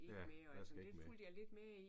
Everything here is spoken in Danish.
Ja. Hvad skal ikke med